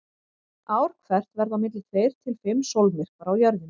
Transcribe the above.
Ár hvert verða á milli tveir til fimm sólmyrkvar á Jörðinni.